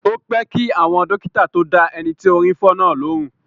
Ó pẹ́ kí àwọn dókítà tó dá ẹni tí orí ń fọ́ náà lóhùn.